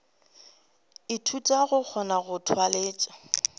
ithuta go kgona go tlwalega